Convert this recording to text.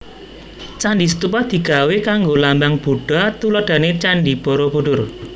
Candi stupa digawé kanggo lambang Budha tuladhané Candhi Borobudur